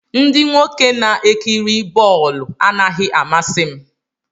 Ndị nwoke na-ekiri bọọlụ anaghị amasị m